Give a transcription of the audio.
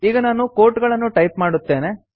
ಈಗ ನಾನು ಕೋಟ್ಗಳನ್ನು ಟೈಪ್ ಮಾಡುತ್ತೇನೆ